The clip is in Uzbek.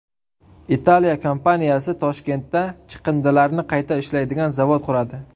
Italiya kompaniyasi Toshkentda chiqindilarni qayta ishlaydigan zavod quradi.